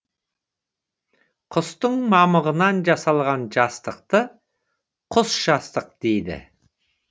құстың мамығынан жасалған жастықты құс жастық дейді